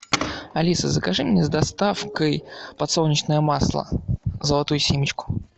алиса закажи мне с доставкой подсолнечное масло золотую семечку